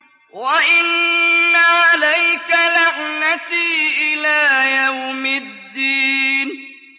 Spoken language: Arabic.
وَإِنَّ عَلَيْكَ لَعْنَتِي إِلَىٰ يَوْمِ الدِّينِ